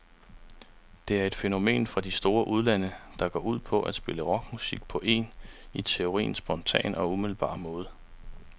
Det er et fænomen fra de store udlande, der går ud på at spille rockmusik på en, i teorien, spontan og umiddelbar måde.